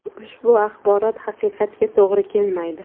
Ushbu axborot haqiqatga to‘g‘ri kelmaydi.